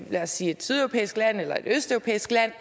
lad os sige et sydeuropæisk eller et østeuropæisk land